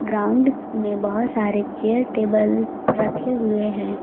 Ground में बहोत सारे चेयर टेबल रखे हुए हैं।